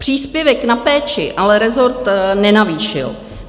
Příspěvek na péči ale rezort nenavýšil.